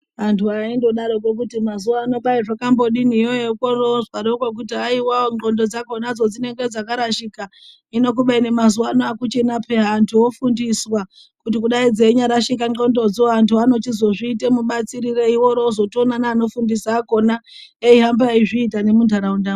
Antu aindodaroko kuti mazuwano kwai zvakambodini iyoyo korozwaroko kuzi haiwa ndxondo dzakonadzo dzinenge dzakarashika hino kubeni mazuwano akuchina peya antu ofundiswa kuti dai dzenyarashika ndxondodzo antu anochizozviite mubatsirirei worozotoona neanofundisa akona eihamba eizviita nemuntaraundamwo.